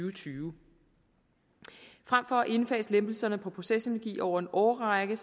og tyve frem for at indfase lempelserne på procesenergi over en årrække